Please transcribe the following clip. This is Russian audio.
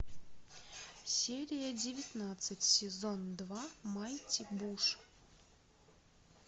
серия девятнадцать сезон два майти буш